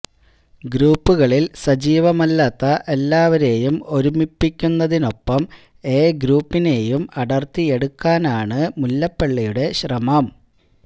ഗ്രൂപ്പുകളിൽ സജീവമല്ലാത്ത എല്ലാവരേയും ഒരുമിപ്പിക്കുന്നതിനൊപ്പം എ ഗ്രൂപ്പിനേയും അടർത്തിയെടുക്കാനാണ് മുല്ലപ്പള്ളിയുടെ ശ്രമം